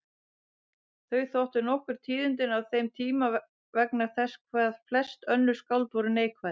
Þau þóttu nokkur tíðindi á þeim tíma vegna þess hvað flest önnur skáld voru neikvæð.